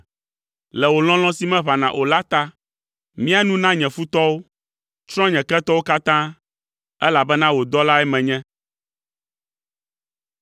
Le wò lɔlɔ̃ si meʋãna o la ta, mia nu na nye futɔwo; tsrɔ̃ nye ketɔwo katã, elabena wò dɔlae menye.